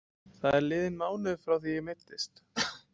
Það er liðinn mánuður frá því ég meiddist.